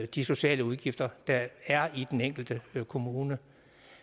de sociale udgifter der er i den enkelte kommune